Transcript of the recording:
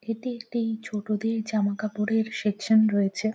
এটি একটি ছোটদের জামাকাপড়ের সেকশন রয়েছে।